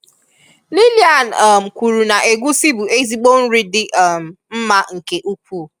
Lilian um kwuru na egwusi bụ ezigbo nri dị um mma nke ukwuu